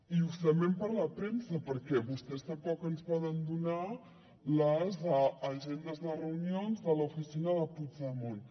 i justament per la premsa perquè vostès tampoc ens poden donar les agendes de reunions de l’oficina de puigdemont